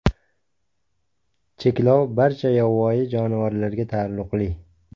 Cheklov barcha yovvoyi jonivorlarga taalluqli.